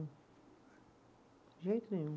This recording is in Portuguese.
De jeito nenhum.